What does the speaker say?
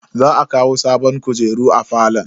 Za a kawo sabon kujeru a falon.